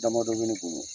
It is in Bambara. Damadɔ bɛ ne bolo